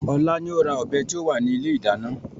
Ọlá ni ó ra ọ̀bẹ tí ó wà ní ilé ìdáná.